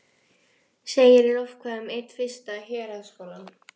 segir í lofkvæði um einn fyrsta héraðsskólann.